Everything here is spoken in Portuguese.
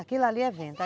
Aquilo ali é vento.